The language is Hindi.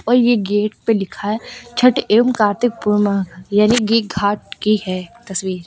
और ये गेट पे लिखा है छठ एवं कार्तिक पूर्णिमा यानी कि घाट की है तस्वीर।